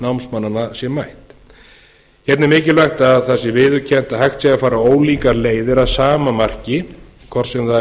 námsmannanna sé mætt hérna er mikilvægt að það sé viðurkennt að hægt sé að fara ólíkar leiðir að sama marki hvort sem það er